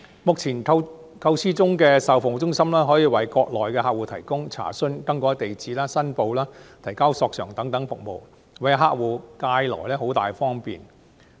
目前構思中的售後服務中心，可以為國內客戶提供查詢、更改住址、申報、提交索償等服務，為客戶帶來便利。